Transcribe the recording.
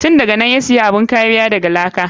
Tun daganan ya siya bun kariya daga laka.